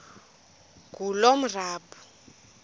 ngulomarabu